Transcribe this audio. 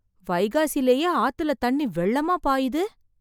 வைகாசிலேயே ஆத்துல தண்ணி வெள்ளமாப் பாயுது.